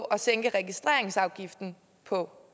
at sænke registreringsafgiften på